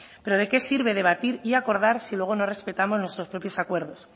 pero de qué sirve debatir y acordar si luego no respetamos nuestros propios acuerdo